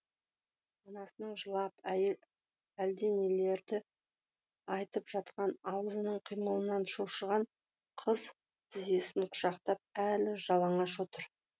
анасының жылап әлденелерді айтып жатқан аузының қимылынан шошыған қыз тізесін құшақтап әлі жалаңаш отыр